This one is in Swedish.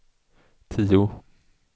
tio